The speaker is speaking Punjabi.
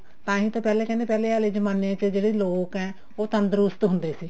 ਤਾਂਹੀ ਤਾਂ ਪਹਿਲੇ ਕਹਿੰਦੇ ਪਹਿਲੇ ਆਲੇ ਜਮਾਨੇ ਚ ਜਿਹੜੇ ਲੋਕ ਆ ਉਹ ਤੰਦਰੁਸਤ ਹੁੰਦੇ ਸੀ